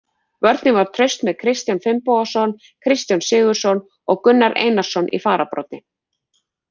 Vörnin var traust með Kristján Finnbogason, Kristján Sigurðsson og Gunnar Einarsson í fararbroddi.